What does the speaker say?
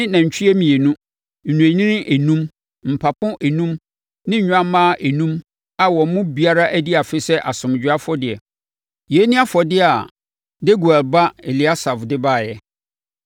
ne nantwie mmienu, nnwennini enum, mpapo enum ne nnwammaa enum a wɔn mu biara adi afe sɛ asomdwoeɛ afɔdeɛ. Yei ne afɔdeɛ a Deguel ba Eliasaf de baeɛ.